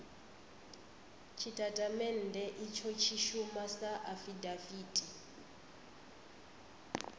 tshitatamennde itsho tshi shuma sa afidaviti